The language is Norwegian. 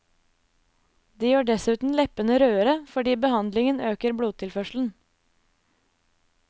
De gjør dessuten leppene rødere, fordi behandlingen øker blodtilførselen.